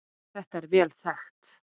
Þetta er vel þekkt.